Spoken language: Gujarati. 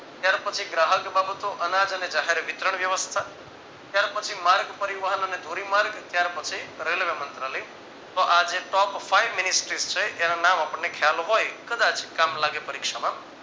ત્યાર પછી ગ્રાહક બાબતો અનાજ અને જાહેર વિતરણ વ્યવસ્થા ત્યાર પછી માર્ગ પરિવહન અને ધોરીમાર્ગ ત્યાર પછી રેલવે મંત્રાલય તો આજે top Five ministry છે એના નામ આપણને ખ્યાલ હોયતો કદાચ કામ લાગે પરીક્ષા માં